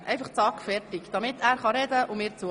Nun bitte ich Sie, zügig zu Ihren Plätzen zurückzukehren.